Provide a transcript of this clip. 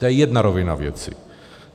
To je jedna rovina věci.